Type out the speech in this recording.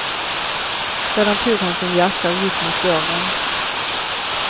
Sedan tog han sin jacka och gick mot dörren.